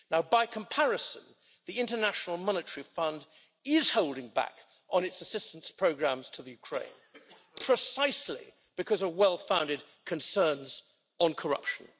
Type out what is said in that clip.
By comparison, the International Monetary Fund is holding back on its assistance programmes to Ukraine, precisely because of well-founded concerns on corruption.